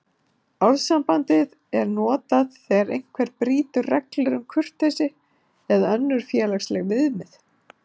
Orðasambandið er notað þegar einhver brýtur reglur um kurteisi eða önnur félagsleg viðmið.